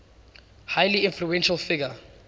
highly influential figure